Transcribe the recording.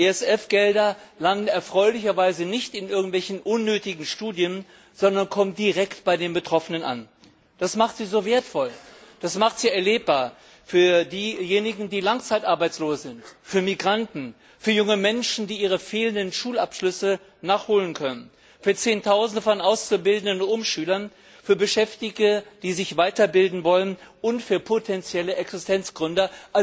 ESF Gelder landen erfreulicherweise nicht in irgendwelchen unnötigen Studien, sondern kommen direkt bei den Betroffenen an. Das macht sie so wertvoll, das macht sie erlebbar für diejenigen, die langzeitarbeitslos sind, für Migranten, für junge Menschen, die ihre fehlenden Schulabschlüsse nachholen können, für zehntausende von Auszubildenden und Umschülern, für Beschäftigte, die sich weiterbilden wollen, und für potenzielle Existenzgründer.